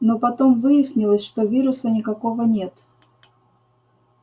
но потом выяснилось что вируса никакого нет